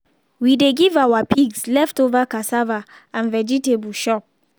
we dey give our pigs leftover cassava and vegetable chop.